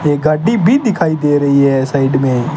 ये गाड्डी भी दिखाई दे रही है साइड में--